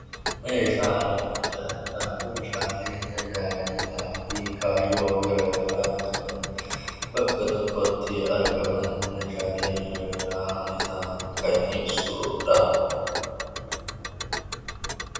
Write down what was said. Meeshaaleen adda addaa meeshaalee tajaajilaa fi kaayyoo gara garaa qaban bakka tokkotti argaman meeshaalee gara garaa ta'an kan ibsudha.